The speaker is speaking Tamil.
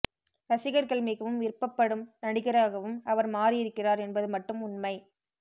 ரசிகர்கள் மிகவும் விருப்பப்படும் நடிகராகவும் அவர் மாறியிருக்கிறார் என்பது மட்டும் உண்மை